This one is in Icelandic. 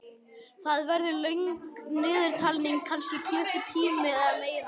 Það verður löng niðurtalning, kannski klukkutími eða meira.